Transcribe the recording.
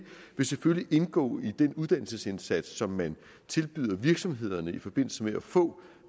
vil selvfølgelig indgå i den uddannelsesindsats som man tilbyder virksomhederne i forbindelse med at få